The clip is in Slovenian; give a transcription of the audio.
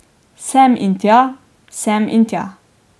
Sem in tja, sem in tja.